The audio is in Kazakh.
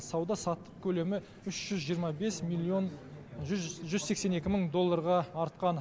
сауда саттық көлемі үш жүз жиырма бес миллион жүз сексен екі мың долларға артқан